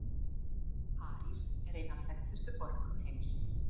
París er ein af þekktustu borgum heims.